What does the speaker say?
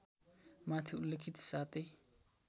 माथि उल्लेखित सातै